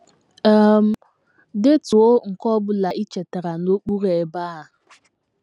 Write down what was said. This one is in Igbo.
um Detuo nke ọ bụla i chetara n’okpuru ebe a.